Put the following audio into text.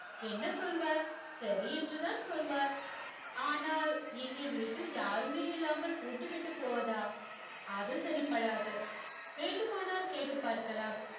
என்ன சொல்வார் சரி என்று தான் சொல்வார் ஆனால் எங்க வீட்டில் யாருமே இல்லாமல் பூட்டிவிட்டு போவதா அது சரி படாது வேண்டுமானால் கேட்டு பார்க்கலாம்